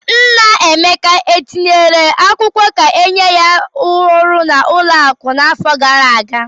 Nna Emeka etinyere akwụkwọ ka enye ya ọrụ n'ụlọakụ n'afọ gara aga?